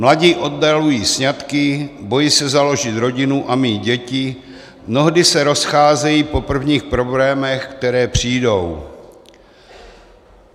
Mladí oddalují sňatky, bojí se založit rodinu a mít děti, mnohdy se rozcházejí po prvních problémech, které přijdou.